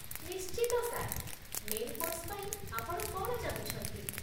ନିଶ୍ଚିତ, sir. Main course ପାଇଁ ଆପଣ କ'ଣ ଚାହୁଁଛନ୍ତି?